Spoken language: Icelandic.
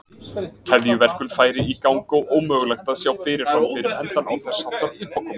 Keðjuverkun færi í gang og ómögulegt að sjá fyrirfram fyrir endann á þess háttar uppákomu.